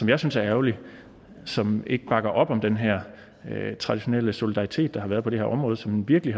jeg synes er ærgerlig som ikke bakker op om den her traditionelle solidaritet der har været på det her område som virkelig